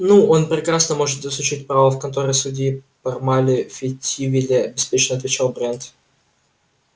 ну он прекрасно может изучить право в конторе судьи пармали в фейетвилле беспечно отвечал брент